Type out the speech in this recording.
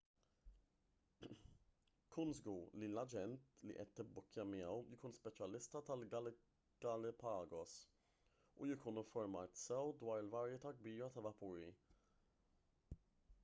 kun żgur li l-aġent li qed tibbukkja miegħu jkun speċjalista tal-galapagos u jkun infurmat sew dwar il-varjetà kbira ta' vapuri